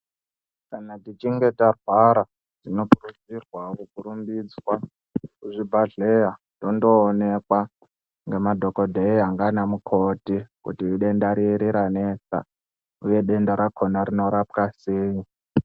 Kana tichinge tarwara, tinokurudzirwawo kurumbiswa kuzvibhadhleya tondoonekwa ngemadhokodheya ngaana mukoti kuti idenda riri ranesa, uye denda rakona rinorapwa sei.